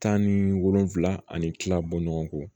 Tan ni wolonfula ani kila bɔ ɲɔgɔn